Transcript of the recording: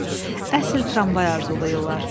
Əsl tramvay arzulayırlar.